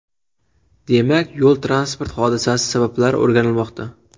Demak, yo‘l-transport hodisasi sabablari o‘rganilmoqda.